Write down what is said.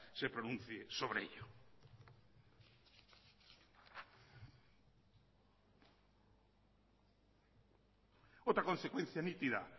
se pronuncie sobre ello otra consecuencia nítida